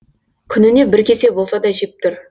күніне бір кесе болса да жеп тұр